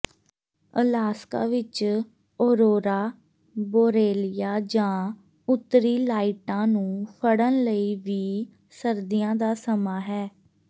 Alaska ਵਿਚ aurora borealis ਜਾਂ ਉੱਤਰੀ ਲਾਈਟਾਂ ਨੂੰ ਫੜਨ ਲਈ ਵੀ ਸਰਦੀਆਂ ਦਾ ਸਮਾਂ ਹੈ